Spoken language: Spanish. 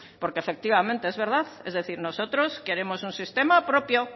porque efectivamente es verdad es decir nosotros queremos un sistema propio